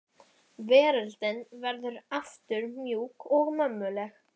Veröldin verður aftur mjúk og mömmuleg.